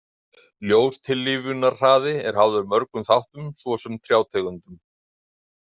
Ljóstillífunarhraði er háður mörgum þáttum svo sem trjátegundum.